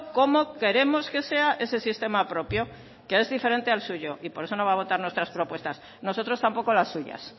cómo queremos que sea ese sistema propio que es diferente al suyo y por eso no va a votar nuestras propuestas nosotros tampoco las suyas